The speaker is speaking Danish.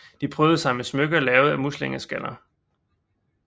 De prydede sig med smykker lavet af muslingeskaller